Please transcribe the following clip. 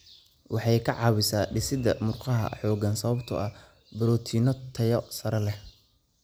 Waxay ka caawisaa dhisidda murqaha xooggan sababtoo ah borotiinno tayo sare leh.